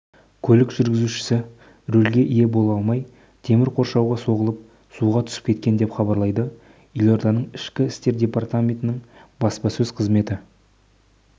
көлік жүргізушісі рөлге ие бола алмай темір қоршауға соғылып суға түсіп кеткен деп хабарлады елорданың ішкі істер департаментінің баспасөз қызметі